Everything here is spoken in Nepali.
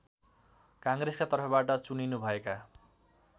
काङ्ग्रेसका तर्फबाट चुनिनुभएका